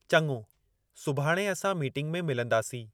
चङो, सुभाणे असां मीटिंग में मिलंदासीं।